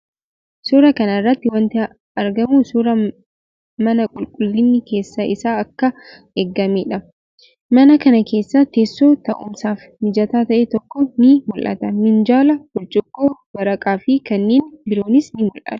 Suuraa kana irratti wanti argamu suuraa mana qulqullinni keessa isaa akkaan eegamee dha. Mana kana keessas teessoon taa'umsaaf mijataa ta'e tokko ni mul'ata. Minjaala, burcuqqoo, waraqaa fi kanneen biroonis ni mul'atu.